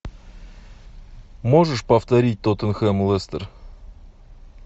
можешь повторить тоттенхэм лестер